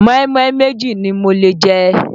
mọ́ínmọ́ín méjì ni mo lè jẹ.